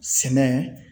Sɛnɛ